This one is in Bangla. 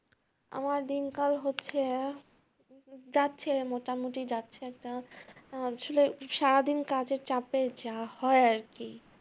আমার দিনকাল হচ্ছে, যাচ্ছে মোটামুটি যাচ্ছে একটা আহ ছিল সারাদিন কাজের চাপে যা হয় আর কি।